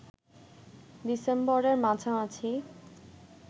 ডিসেম্বরের মাঝামাঝি